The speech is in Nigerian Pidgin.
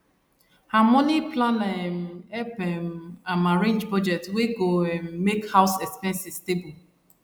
her money planner um help um am arrange budget wey go um make house expenses stable